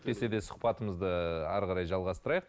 десе де сұхбатымызды ары қарай жалғастырайық